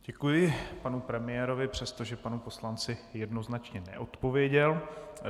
Děkuji panu premiérovi, přestože panu poslanci jednoznačně neodpověděl.